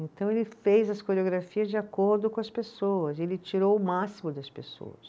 Então, ele fez as coreografias de acordo com as pessoas, ele tirou o máximo das pessoas.